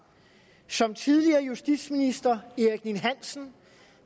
som tidligere justitsminister erik ninn hansen